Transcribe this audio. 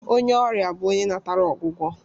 Onye ọrịa bụ onye natara ọgwụgwọ